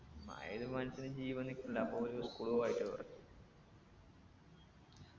മഴ പെയ്ത് മനുഷ്യൻ ജീവൻ നിക്കണ്ടെ അപ്പൊ ഓര് school